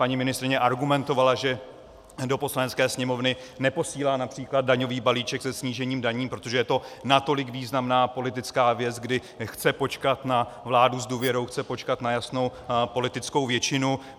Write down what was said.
Paní ministryně argumentovala, že do Poslanecké sněmovny neposílá například daňový balíček se snížením daní, protože je to natolik významná politická věc, kdy chce počkat na vládu s důvěrou, chce počkat na jasnou politickou většinu.